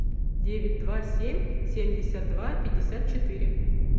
девять два семь семьдесят два пятьдесят четыре